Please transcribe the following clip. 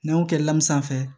N'an y'o kɛ lamun sanfɛ